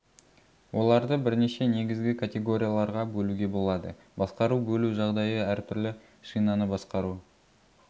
оларды бірнеше негізгі категорияларға бөлуге болады басқару бөлу жағдайы әр түрлі шинаны басқару